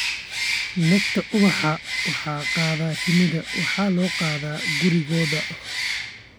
Nectar ubaxa waxaa qaada shinni waxaana loo qaadaa gurigooda.